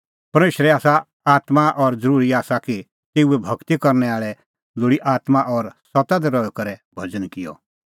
परमेशर आसा आत्मां और ज़रूरी आसा कि तेऊए भगती करनै आल़ै लोल़ी आत्मां और सत्ता दी रही करै भज़न किअ